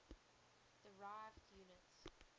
derived units